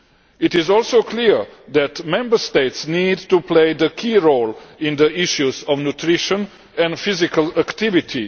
It is also clear that Member States need to play a key role in the issues of nutrition and physical activity.